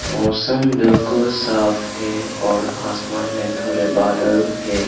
मौसम बिल्कुल साफ है और आसमान में थोड़े बादल है।